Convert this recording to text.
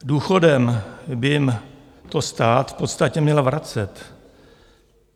Důchodem by jim to stát v podstatě měl vracet.